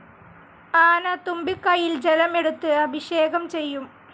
ആന തുമ്പികൈയിൽ ജലം എടുത്ത് അഭിഷേകം ചെയ്യും.